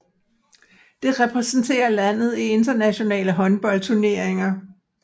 Det repræsenterer landet i internationale håndboldturneringer